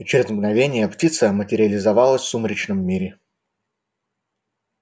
и через мгновение птица материализовалась в сумеречном мире